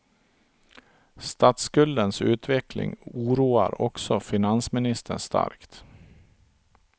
Statsskuldens utveckling oroar också finansministern starkt.